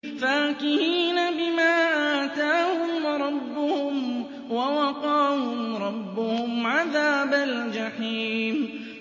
فَاكِهِينَ بِمَا آتَاهُمْ رَبُّهُمْ وَوَقَاهُمْ رَبُّهُمْ عَذَابَ الْجَحِيمِ